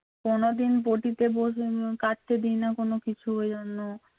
কোনদিন বটিতে কাটতে দেই না কোন কিছু ওই জন্য